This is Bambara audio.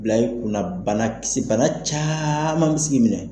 Bila i kunna bana kisi bana caaman bɛ s'i k'i minɛ.